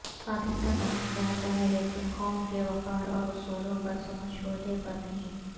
پاکستان امن چاہتا ہے لیکن قوم کے وقار اور اصولوں پر سمجھوتے پر نہیں